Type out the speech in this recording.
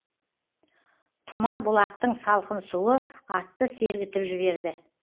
тұма бұлақтың салқын суы атты сергітіп жіберді